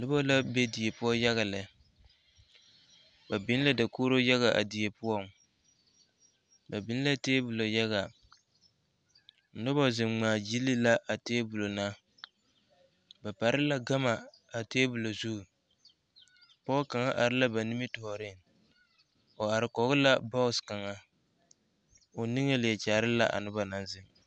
Noba la be die poɔ yaga lɛ ba biŋ la dakogiro yaga a die poɔŋ ba biŋ la taabɔlɔ yaga noba zeŋ ŋmaa gyile la a taabɔlɔ na ba pare la gama a taabɔlɔ zu pɔge kaŋa are la ba nimitɔɔreŋ o are koge la bɔɔŋ kaŋa o niŋe leɛ kyaare la a noba naŋ zeŋ